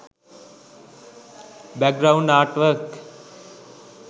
background art work